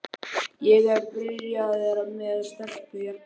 Ég er byrjaður með stelpu hérna.